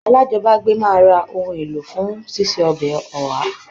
Alájọbágbé máa ra ohun èlò fún síse ọbẹ̀ Oha